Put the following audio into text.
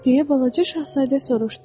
Deyə balaca şahzadə soruşdu.